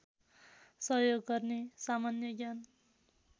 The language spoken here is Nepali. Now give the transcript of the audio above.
सहयोग गर्ने सामान्य ज्ञान